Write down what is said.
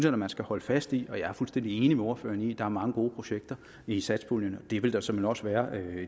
da man skal holde fast i jeg er fuldstændig enig med ordføreren i at der er mange gode projekter i satspuljen og det vil der såmænd også være